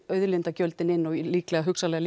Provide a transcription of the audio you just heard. auðlindagjöldin inn og líka hugsanlega